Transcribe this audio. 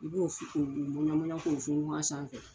I b'o k'o funfun a sanfɛ.